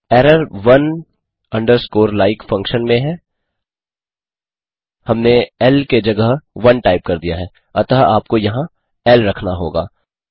error one underscore like function में है हमने इल के जगह ओने टाइप कर दिया है अतः आपको यहाँ इल रखना होगा